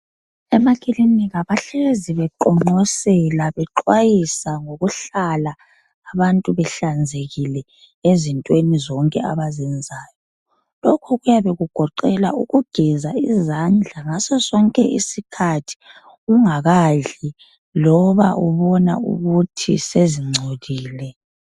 Emakilinika bahlezi beqonqosela, bexwayisa ngokuhlala abantu behlanzekile ezintweni zonke abazenzayo. Lokhu kuyabe kugoqela ukugeza izandla ngaso sonke isikhathi ungakadli loba ubona ukuthi sezingcolile.